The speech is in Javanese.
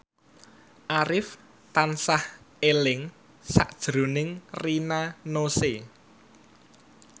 Arif tansah eling sakjroning Rina Nose